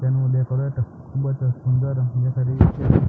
તેનું ડેકોરેટ ખુબ જ સુંદર કરેલું છે.